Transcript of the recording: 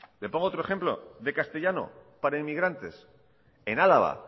le pongo otro ejemplo de castellano para inmigrantes en álava